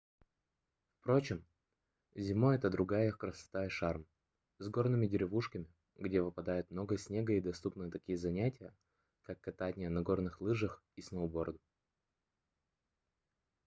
впрочем зимой это другая красота и шарм с горными деревушками где выпадает много снега и доступны такие занятия как катание на горные лыжах и сноуборде